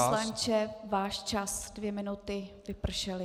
Pane poslanče, váš čas, dvě minuty vypršely.